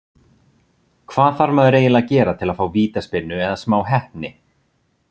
Hvað þarf maður eiginlega að gera til að fá vítaspyrnu eða smá heppni?